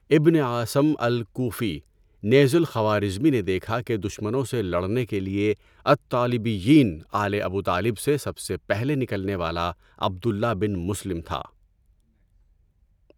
ابن أَعثَم الكوفي، نیز الخوارزمی نے دیکھا کہ دشمنوں سے لڑنے کے لیے الطالبيّين آلِ ابو طالب سے سب سے پہلے نکلنے والا عبد اللّہ بن مسلم تھا۔